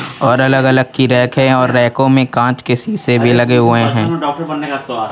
और अलग अलग कि रेक है और रेको में कांच के शीशे भी लगे हुए हैं.